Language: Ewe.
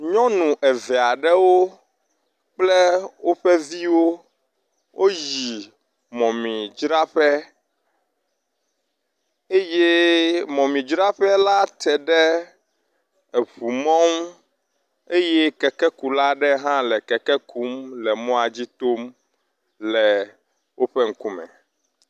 Nyɔnu eve aɖewo kple woƒe viwo woyi mɔmidzraƒe eye mɔmidzraƒe la teɖe eʋu mɔ ŋu eye kekekula aɖe hã le keke ku le mɔa dzi tom le woƒe ŋkume.